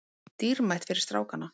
Dýrmætt fyrir strákana